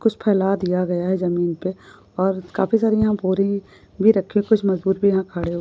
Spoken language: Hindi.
कुछ फैला दिया गया है जमीन पे और काफी यहाँ सारी बोरि भी रखी है कुछ मजदुर भी यहाँ खड़े--